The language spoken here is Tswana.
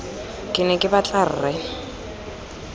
ke ne ke batla rre